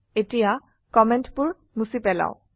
এতিয়া কমেন্টবোৰ মুছি পেলাও